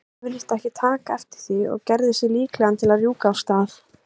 björn virtist ekki taka eftir því og gerði sig líklegan til að rjúka af stað.